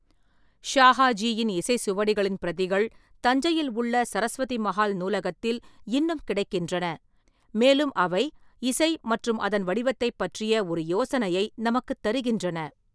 ஷாஹாஜியின் இசைச் சுவடிகளின் பிரதிகள் தஞ்சையில் உள்ள சரஸ்வதி மஹால் நூலகத்தில் இன்னும் கிடைக்கின்றன, மேலும் அவை இசை மற்றும் அதன் வடிவத்தைப் பற்றிய ஒரு யோசனையை நமக்குத் தருகின்றன.